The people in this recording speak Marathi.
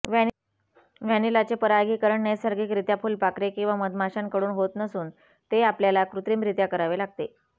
व्हॅनिलाचे परागिकरण नैसर्गिकरित्या फुलपाखरे किंवा मधमाश्यांकडून होत नसून ते आपल्याला कृत्रिमरित्या करावे लागते